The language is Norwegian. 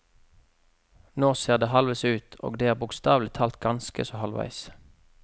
Nå ser det halvveis ut, og det er bokstavelig talt ganske så halvveis.